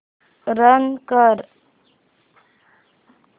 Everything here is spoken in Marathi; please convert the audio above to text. रन कर